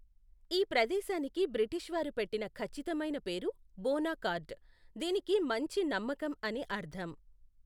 ఈ ప్రదేశానికి బ్రిటీష్ వారు పెట్టిన ఖచ్చితమైన పేరు బోనాకార్డ్, దీనికి మంచి నమ్మకం అని అర్థం.